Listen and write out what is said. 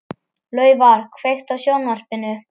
Laufar, kveiktu á sjónvarpinu.